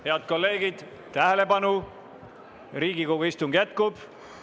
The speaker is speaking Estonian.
Head kolleegid, tähelepanu, Riigikogu istung jätkub!